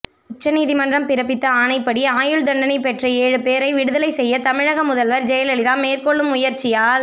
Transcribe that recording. உச்சநீதிமன்றம் பிறப்பித்த ஆணைப்படி ஆயுள் தண்டனை பெற்ற ஏழு பேரை விடுதலை செய்ய தமிழக முதல்வர் ஜெயலலிதா மேற்கொள்ளும் முயற்சியால்